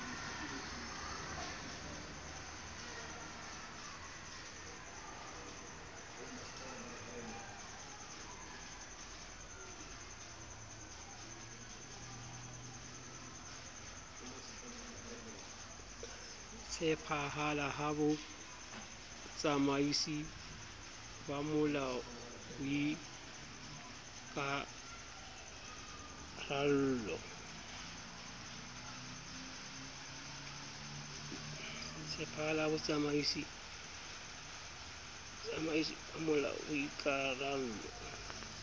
tshepahala ha botsamaisi bomolao boikarallo